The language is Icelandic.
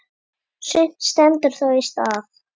Sumt stendur þó í stað.